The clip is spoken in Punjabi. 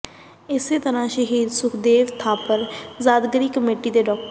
ਇਸੇ ਤਰ੍ਹਾਂ ਸ਼ਹੀਦ ਸੁਖਦੇਵ ਥਾਪਰ ਯਾਦਗਾਰੀ ਕਮੇਟੀ ਦੇ ਡਾ